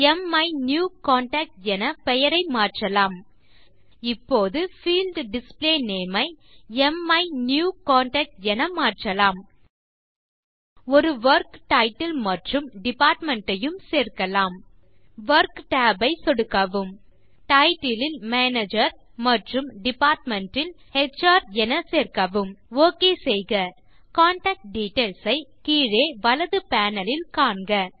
மைனியூகான்டாக்ட் என பெயரை மாற்றலாம் இப்போது பீல்ட் டிஸ்ப்ளே நேம் ஐ மைனியூகான்டாக்ட் என மாற்றலாம் ஒரு வொர்க் டைட்டில் மற்றும் டிபார்ட்மெண்ட் ஐயும் சேர்க்கலாம் வொர்க் tab ஐ சொடுக்கவும் டைட்டில் இல் மேனேஜர் மற்றும் டிபார்ட்மெண்ட் இல் எச்ஆர் என சேர்க்கவும் OK செய்க கான்டாக்ட் டிட்டெயில்ஸ் ஐ கீழே வலது பேனல் இல் காண்க